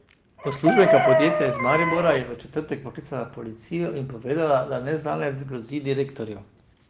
Uslužbenka podjetja iz Maribora je v četrtek poklicala policijo in povedala, da neznanec grozi direktorju.